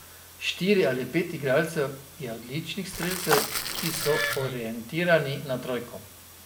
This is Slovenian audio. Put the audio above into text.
Štiri ali pet igralcev je odličnih strelcev, ki so orientirani na trojko.